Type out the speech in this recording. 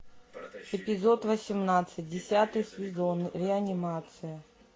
эпизод восемнадцать десятый сезон реанимация